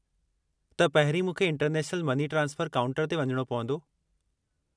त, पहिरीं मूंखे इंटरनेशनल मनी ट्रांसफ़रु काउंटर ते वञणो पवंदो?